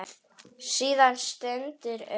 Síðan styttir upp.